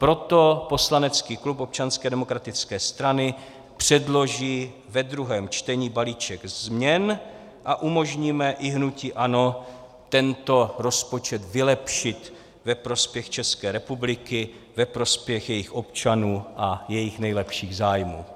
Proto poslanecký klub Občanské demokratické strany předloží ve druhém čtení baliček změn a umožníme i hnutí ANO tento rozpočet vylepšit ve prospěch České republiky, ve prospěch jejích občanů a jejích nejlepších zájmů.